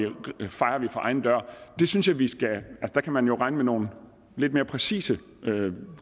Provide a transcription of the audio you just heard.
for egen dør der kan man jo regne med nogle lidt mere præcise